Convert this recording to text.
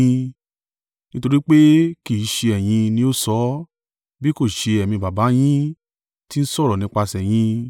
Nítorí pé kì í ṣe ẹ̀yin ni ó sọ ọ́, bí kò ṣe Ẹ̀mí Baba yín tí ń sọ̀rọ̀ nípasẹ̀ yín.